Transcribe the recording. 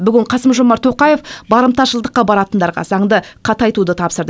бүгін қасым жомарт тоқаев барымташылдыққа баратындарға заңды қатайтуды тапсырды